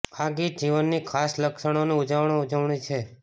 આ ગીત જીવનની ખાસ ક્ષણોનું ઉજ્જવળ ઉજવણી છે